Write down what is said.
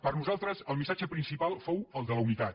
per nosaltres el missatge principal fou el de la unitat